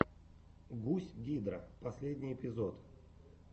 гусь гидра последний эпизод